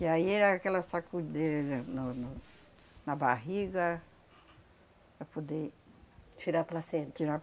E aí era aquela sacudeira no no na barriga para poder... tirar a placenta? Tirar a